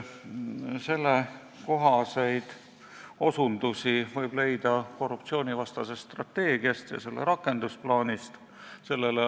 Sellekohaseid osutusi võib leida korruptsioonivastasest strateegiast ja selle rakendusplaanist.